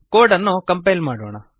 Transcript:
code ಅನ್ನು compile ಮಾಡೋಣ